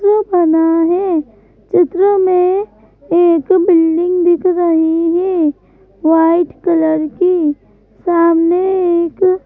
चित्र बनाने चित्र में एक पेन दिख रही है वाइट कलर की सामने से--